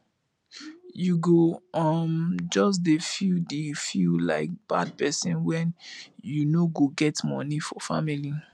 you go um just dey feel dey feel like bad pesin wen you no get moni for family